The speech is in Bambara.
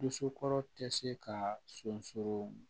Dusukolo tɛ se ka sunɔgɔ